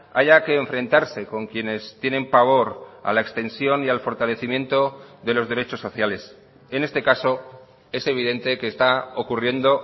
haya que enfrentarse con quienes tienen pavor a la extensión y al fortalecimiento de los derechos sociales en este caso es evidente que está ocurriendo